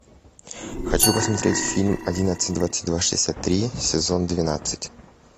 хочу посмотреть фильм одиннадцать двадцать два шестьдесят три сезон двенадцать